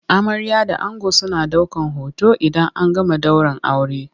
Amarya da ango suna daukan hoton idan an gama daurin aure.